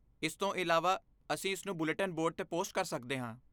ਇਸ ਤੋਂ ਇਲਾਵਾ, ਅਸੀਂ ਇਸਨੂੰ ਬੁਲੇਟਿਨ ਬੋਰਡ 'ਤੇ ਪੋਸਟ ਕਰ ਸਕਦੇ ਹਾਂ।